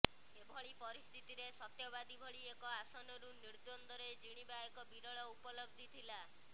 ଏଭଳି ପରିସ୍ଥିତିରେ ସତ୍ୟବାଦୀ ଭଳି ଏକ ଆସନରୁ ନିଦ୍ୱର୍ନ୍ଦରେ ଜିଣିବା ଏକ ବିରଳ ଉପଲବ୍ଧି ଥିଲା